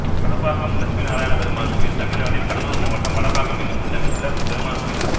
வடப்பாக்கம் லட்சுமி நாராயணப்பெருமாள் கோயில் தமிழ்நாட்டில் கடலூர் மாவட்டம் வடப்பாக்கம் என்னும் ஊரில் அமைந்துள்ள பெருமாள் கோயிலாகும்